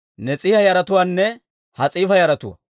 Nas'iiha yaratuwaanne Has'iifa yaratuwaa.